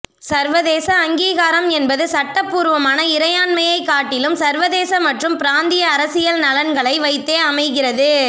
சர்வதேச அங்கீகாரம் என்பது சட்டபூர்வமான இறையாண்மையைக் காட்டிலும் சர்வதேச மற்றும் பிராந்திய அரசியல் நலன்களை வைத்தே அமைகிறது